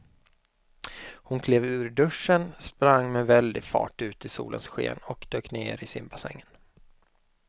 Hon klev ur duschen, sprang med väldig fart ut i solens sken och dök ner i simbassängen.